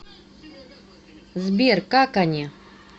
сбер как они